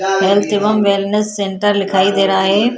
Health एवम् wellness centre दिखाई दे रहा है।